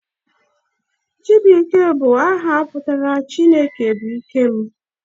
Chibuikem bụ aha pụtara 'Chineke bụ ike m'